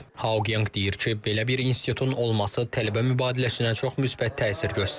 Haoyanq deyir ki, belə bir institutun olması tələbə mübadiləsinə çox müsbət təsir göstərir.